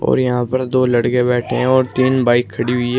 और यहां पर दो लड़के बैठे हैं और तीन बाइक खड़ी हुई है।